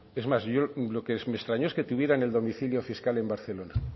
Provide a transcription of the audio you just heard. es más lo que me extrañó es que tuvieran el domicilio fiscal en barcelona